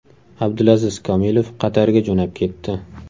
Abdulaziz Komilov Qatarga jo‘nab ketdi.